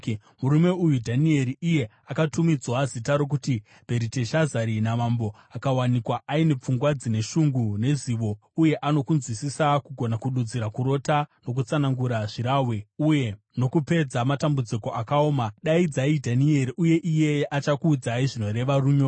Murume uyu Dhanieri, iye akatumidzwa zita rokuti Bheriteshazari namambo, akawanikwa aine pfungwa dzine shungu nezivo uye ano kunzwisisa, kugona kududzira kurota, nokutsanangura zvirahwe uye nokupedza matambudziko akaoma. Daidzai Dhanieri, uye iyeye achakuudzai zvinoreva runyoro.”